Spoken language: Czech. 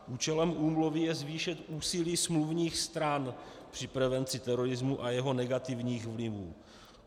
Účelem úmluvy je zvýšit úsilí smluvních stran při prevenci terorismu a jeho negativních vlivů.